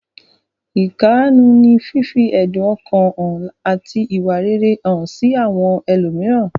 Ìkáàánú ní fífi ẹ̀dun ọkàn hàn àti ìwà rere hàn sí àwọn ẹlòmíràn.